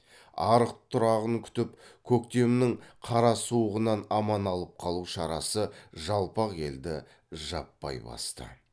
арық тұрағын күтіп көктемнің қара суығынан аман алып қалу шарасы жалпақ елді жаппай басты